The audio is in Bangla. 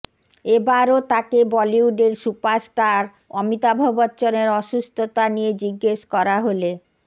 এবারও তাকে বলিউডের সুপারস্টার অমিতাভ বচ্চনের অসুস্থতা নিয়ে জিজ্ঞেস করা হলে